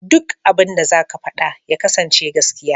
Duk abinda za ka faɗa ya kasance gaskiya.